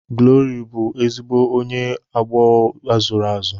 Glory bụ ezigbo onye aghụghọ azụrụ azụ.